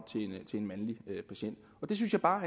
til en mandlig patient og det synes jeg bare